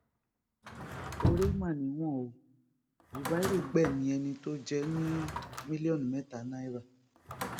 oore mà níwọn o zubairu gbẹmí ẹni tó jẹ ní mílíọnù mẹta náírà